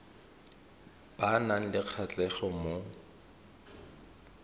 ba nang le kgatlhego mo